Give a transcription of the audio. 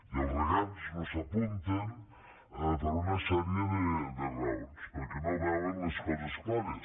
i els regants no s’hi apunten per una sèrie de raons perquè no veuen les coses clares